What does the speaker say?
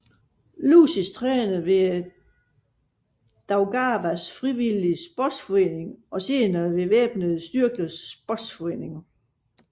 Lūsis trænede ved Daugavas Frivilliges Sportsforening og senere ved Væbnede Styrkers Sportsforening